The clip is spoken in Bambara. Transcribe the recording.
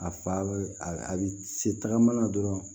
A fa a bɛ se tagama na dɔrɔn